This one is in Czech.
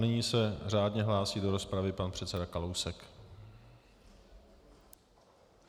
Nyní se řádně hlásí do rozpravy pan předseda Kalousek.